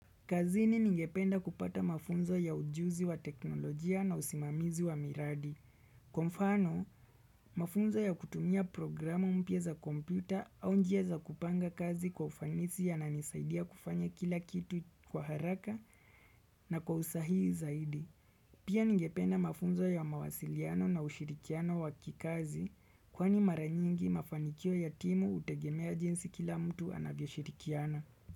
Kazini ningependa kupata mafunzo ya ujuzi wa teknolojia na usimamizi wa miradi. Kwa mfano, mafunzo ya kutumia programa mpya za kompyuta au njia za kupanga kazi kwa ufanisi yananisaidia kufanya kila kitu kwa haraka na kwa usahihi zaidi. Pia ningependa mafunzo ya mawasiliano na ushirikiano wakikazi kwani mara nyingi mafanikio ya timu hutegemea jinsi kila mtu anavyoshirikiana.